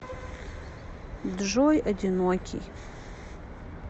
джой одинокий